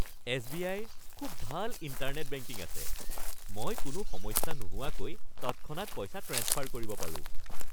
এছ.বি.আই.ৰ খুব ভাল internet banking আছে। মই কোনো সমস্যা নোহোৱাকৈ তৎক্ষণাত পইচা ট্ৰেন্সফাৰ কৰিব পাৰোঁ।